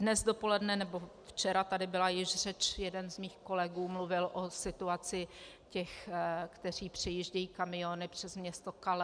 Dnes dopoledne, nebo včera, tady byla již řeč, jeden z mých kolegů mluvil o situaci těch, kteří přijíždějí kamiony přes město Calais.